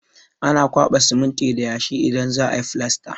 Ana kwaɓa siminti da yashi idan za a yi filasta.